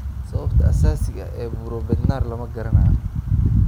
Sababta asaasiga ah ee buro Bednar lama garanayo.